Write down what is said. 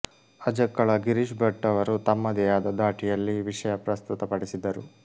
ಅಜಕ್ಕಳ ಗಿರೀಶ್ ಭಟ್ ಅವರು ತಮ್ಮದೇ ಆದ ದಾಟಿಯಲ್ಲಿ ವಿಷಯ ಪ್ರಸ್ತುತಪಡಿಸಿದರು